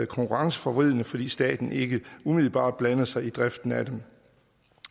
konkurrenceforvridende fordi staten ikke umiddelbart blander sig i driften af dem